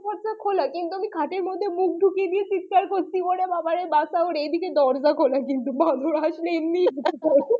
দরজা খোলা কিন্তু আমি খাটের মধ্যে মুখ ঢুকিয়ে দিয়ে চিৎকার করছি এ বাবা এ বাঁচাও এইদিকে দরজা খোলা কিন্তু বান্দর আসলে এমনিই আসবে।